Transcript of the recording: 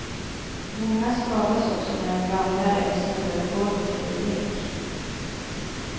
Många skadas också när de ramlar eller snubblar på golvet under lek.